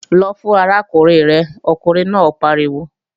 Lọ fún arákùnrin rẹ̀, ọkùnrin náà pariwo!